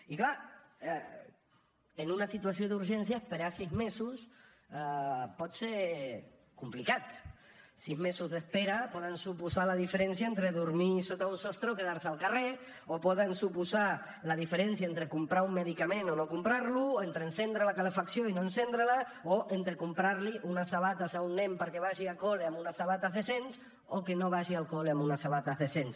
i clar en una situació d’urgència esperar sis mesos pot ser complicat sis mesos d’espera poden suposar la diferència entre dormir sota un sostre o quedar se al carrer o poden suposar la diferència entre comprar un medicament o no comprar lo entre encendre la calefacció i no encendre la o entre comprar li unes sabates a un nen perquè vagi a col·le amb unes sabates decents o que no vagi al col·le amb unes sabates decents